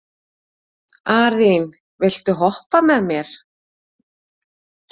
Arín, viltu hoppa með mér?